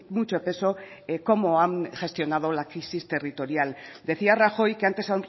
mucho peso cómo han gestionado la crisis territorial decía rajoy que antes